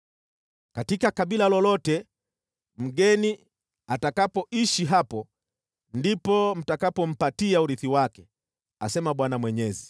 Katika kabila lolote mgeni atakapoishi hapo ndipo mtakapompatia urithi wake,” asema Bwana Mwenyezi.